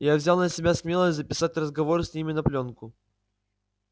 я взял на себя смелость записать разговор с ними на плёнку